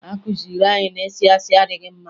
A kụziri anyị na ịsị asị adịghị mma